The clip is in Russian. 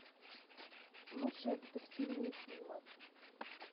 лучшие детективные фильмы